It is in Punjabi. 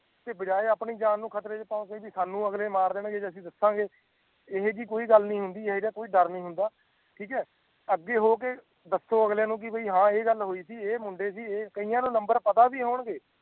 ਬੀਜੀਏ ਆਪਣੀ ਜਾਨ ਨੂੰ ਖਤਰੇ ਚ ਪਾਨ ਚਾਹੀਦੀ ਸਾਨੂੰ ਅਗਲੇ ਮਾਰ ਦੇਣ ਜੇ ਅਗੇ ਦਸਾਂ ਗਏ ਇਹੋ ਜਿਇ ਕੋਈ ਗੱਲ ਨਹੀਂ ਹੁੰਦੀ ਇਹੋ ਜਿਆ ਕੋਈ ਡਰ ਨਹੀਂ ਹੁੰਦਾ ਠੀਕ ਹੈ ਅੱਗੇ ਹੋ ਕੇ ਦਸੋ ਅਗਲੇ ਨੂੰ ਕਿ ਬੀ ਆ ਇਹ ਗੱਲ ਹੋਈ ਸੀ ਏ ਮੁੰਡੇ ਸੀ ਕਿਆ ਨੂੰ ਨੰਬਰ ਪਤਾ ਵੀ ਹੋਣ ਗਏ